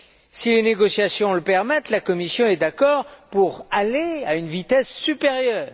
Si les négociations le permettent, la Commission est d'accord pour passer à une vitesse supérieure